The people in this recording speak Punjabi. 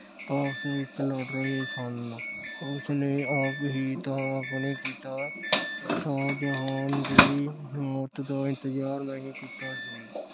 ਆਪਸ ਵਿਚ ਲੜ ਰਹੇ ਸਨ। ਉਸ ਨੇ ਆਪਣੀ ਥਾਂ ਆਪਣੇ ਪਿਤਾ ਸ਼ਾਹਜਹਾਨ ਦੀ ਮੌਤ ਦਾ ਇੰਤਜਾਰ ਨਹੀਂ ਕੀਤਾ ਸੀ।